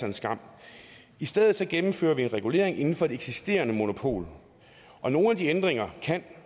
en skam i stedet gennemfører vi en regulering inden for det eksisterende monopol og nogle af ændringerne kan